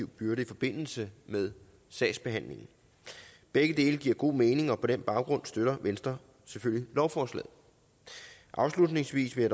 byrder i forbindelse med sagsbehandlingen begge dele giver god mening og på den baggrund støtter venstre selvfølgelig lovforslaget afslutningsvis vil